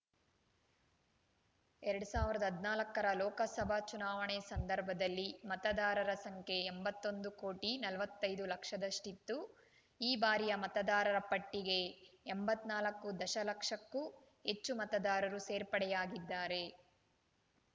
ಎರಡ್ ಸಾವಿರದ ಹದಿನಾಲ್ಕರ ಲೋಕಸಭಾ ಚುನಾವಣೆ ಸಂದರ್ಭದಲ್ಲಿ ಮತದಾರರ ಸಂಖ್ಯೆ ಎಂಬತ್ತೊಂದು ಕೋಟಿ ನಲವತ್ತೈದು ಲಕ್ಷದಷ್ಟಿತ್ತು ಈ ಬಾರಿಯ ಮತದಾರರ ಪಟ್ಟಿಗೆ ಎಂಬತ್ತ್ ನಾಲ್ಕು ದಶಲಕ್ಷಕ್ಕೂ ಹೆಚ್ಚು ಮತದಾರರು ಸೇರ್ಪಡೆಯಾಗಿದ್ದಾರೆ